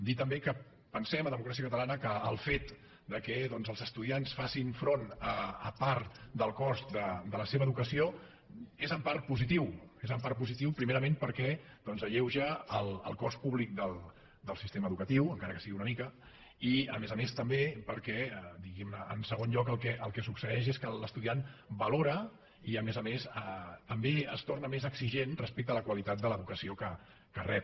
dir també que pensem a democràcia catalana que el fet que doncs els estudiants facin front a part del cost de la seva educació és en part positiu és en part positiu primerament perquè alleuja el cost públic del sistema educatiu encara que sigui una mica i a més a més també perquè diguem ne en segon lloc el que succeeix és que l’estudiant valora i a més a més també es torna més exigent respecte a la qualitat de l’educació que rep